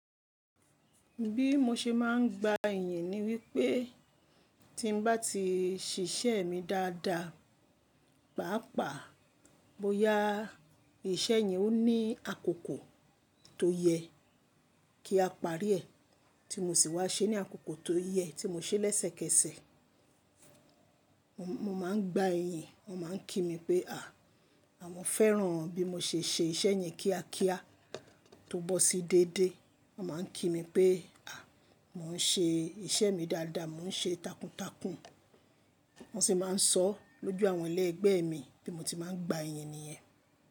Bí mo ṣe máa ń gba iyìn ni wípé tí n bá ti ṣiṣẹ́ mi dáadáa, pàápàá bóyá iṣẹ́ yẹn ó ní àkókò tó yẹ kí a parí ẹ̀ tí mo sì wá ṣe ní àkókò tó yẹ tí mo ṣe lẹ́sẹ̀kẹsẹ̀. Mo máa ń gba iyìn, wọ́n máa ń kí mi pé à, àwọn fẹ́ràn bí mo ṣe ṣe iṣẹ́ yẹn kíákíá tó bọ́ sí déédé. Wọ́n máa ń kí mi pé à, mò ń ṣe iṣẹ́ mi dáadáa, mò ń ṣe takuntakun. Mo sì máa ń sọ lójú àwọn ẹlẹgbẹ́ mi tí mo ti máa ń gba iyìn nìyẹn.